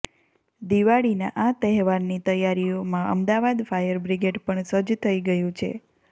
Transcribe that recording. દિવાળીનાં આ તહેવારની તૈયારીઓમાં અમદાવાદ ફાયર બ્રિગેડ પણ સજ્જ થઈ ગયું છે